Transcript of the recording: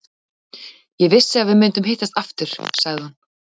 Ég vissi að við myndum hittast aftur, sagði hún.